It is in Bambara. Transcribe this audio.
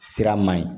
Sira man ɲi